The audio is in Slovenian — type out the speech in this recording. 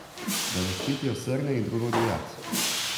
Da zaščitijo srne in drugo divjad.